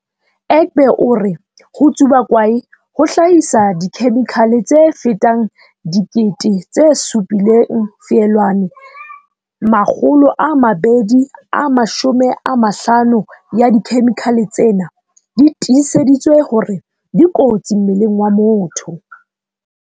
Egbe o re ho tsuba kwae ho hlahisa dikhe-mikhale tse fetang 7 000, 250 ya dikhemikhale tsena di tiiseditswe hore dikotsi mmeleng wa motho.